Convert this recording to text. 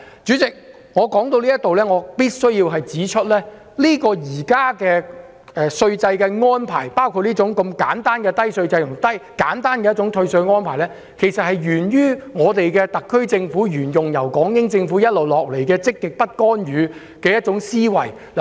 主席，我必須指出，現行的稅制安排，包括簡單低稅制和退稅安排，沿於特區政府延續港英政府一貫的積極不干預思維。